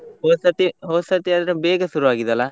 ಹೋದ್ ಸತಿ ಹೋದ್ ಸತಿ ಆದ್ರೆ ಬೇಗ ಶುರು ಆಗಿದೆ ಅಲ್ಲ,